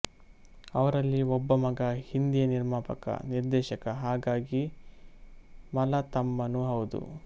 ಅವರಲ್ಲಿ ಒಬ್ಬ ಮಗ ಹಿಂದಿಯ ನಿರ್ಮಾಪಕ ನಿರ್ದೇಶಕ ಹಾಗಾಗಿ ಮಲತಮ್ಮನೂ ಹೌದು